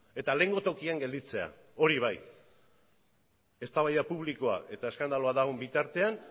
eta lehengo tokian gelditzea hori bai eztabaida publikoa eta eskandalua dagoen bitartean